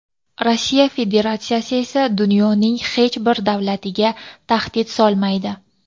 Rossiya Federatsiyasi esa dunyoning hech bir davlatiga tahdid solmaydi.